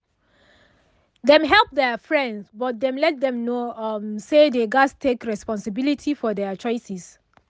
dem help their friend but dem let them know um say dey gas take responsibility for their choices